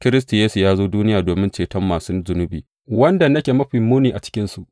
Kiristi Yesu ya zo duniya domin ceton masu zunubi, wanda nake mafi muni a cikinsu.